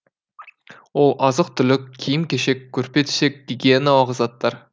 ол азық түлік киім кешек көрпе төсек гигиеналық заттар